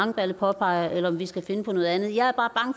langballe påpeger eller om vi skal finde på noget andet jeg er bare